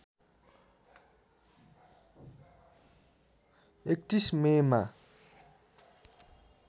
३१ मेमा